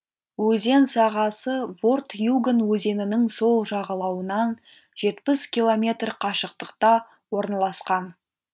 өзен сағасы ворт юган өзенінің сол жағалауынан жетпіс километр қашықтықта орналасқан